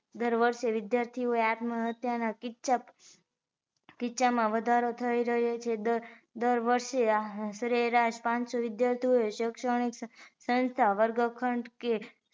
દર વર્ષ એ વિદ્યાર્થીઓએ આત્મ હત્યા ના કિસ્સા કિસ્સા માં વધારો થઇ રહ્યો છે દર વર્ષ એ પાન સો શરેરાશ વિદ્યાર્થીઓએ શેક્ષણીક સંસ્થા વર્ગખંડ કે